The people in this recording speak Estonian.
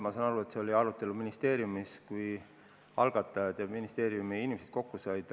Ma saan aru, et see oli arutelu all ministeeriumis, kui kokku said eelnõu algatajad ja ministeeriumi inimesed.